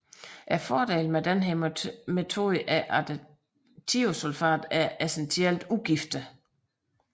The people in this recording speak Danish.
Fordelen med denne metode er at thiosulfat er essentielt ugiftig